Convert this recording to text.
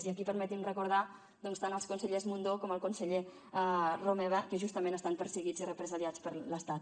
i aquí permeti’m recordar doncs tant el conseller mundó com el conseller romeva que justament estan perseguits i represaliats per l’estat